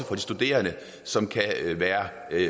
de studerende som kan være af